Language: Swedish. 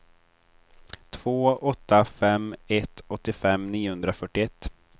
två åtta fem ett åttiofem niohundrafyrtioett